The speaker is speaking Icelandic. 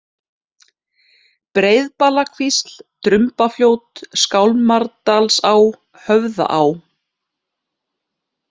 Breiðbalakvísl, Drumbafljót, Skálmardalsá, Höfðaá